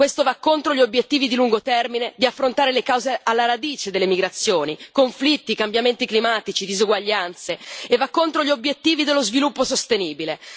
Questo va contro gli obiettivi di lungo termine di affrontare le cause alla radice delle migrazioni conflitti, cambiamenti climatici, disuguaglianze, e va contro gli obiettivi dello sviluppo sostenibile.